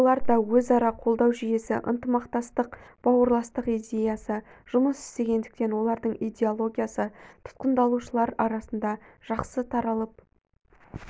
оларда өзара қолдау жүйесі ынтымақтастық бауырластық идеясы жұмыс істегендіктен олардың идеологиясы тұтқындалушылар арасында жақсы таралып